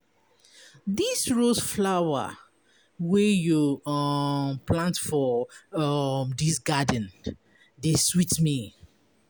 these rose flower wey you um plant for um dis garden dey sweet me.